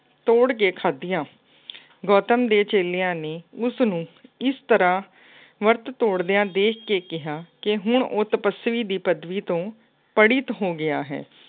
ਤੋੜ ਕੇ ਖਾਧੀਆਂ। ਗੌਤਮ ਦੇ ਚੇਲਿਆਂ ਨੇ ਉਸਨੂੰ ਇਸ ਤਰ੍ਹਾਂ ਵਰਤ ਤੋੜਦਿਆਂ ਦੇਖ ਕੇ ਕਿਹਾ ਕਿ ਹੁਣ ਉਹ ਤਪੱਸਵੀ ਦੀ ਪਦਵੀ ਤੋਂ ਪੜਿਤ ਹੋ ਗਿਆ ਹੈ।